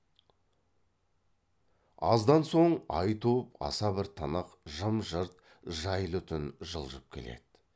аздан соң ай туып аса бір тынық жым жырт жайлы түн жылжып келді